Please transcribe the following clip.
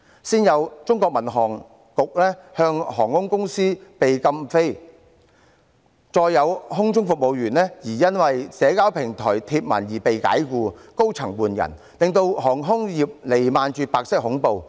先有航空公司被中國民航局禁飛，再有空中服務員因為在社交平台貼文而被解僱，高層換人，令航空業彌漫着白色恐怖。